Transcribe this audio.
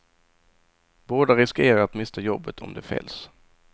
Båda riskerar att mista jobbet om de fälls.